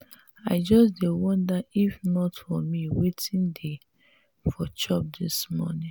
i just dey wonder if not for me wetin dey for chop dis morning.